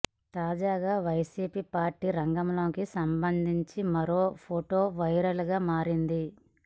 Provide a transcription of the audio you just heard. తాజాగా వైసిపి పార్టీ రంగులకు సంబంధించి మరో ఫోటో వైరల్ గా మారింది